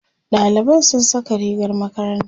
ɗaliban sun Saka rigar makaranta